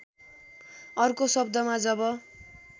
अर्को शब्दमा जब